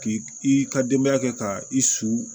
K'i i ka denbaya kɛ ka i su